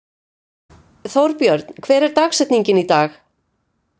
Þórbjörn, hver er dagsetningin í dag?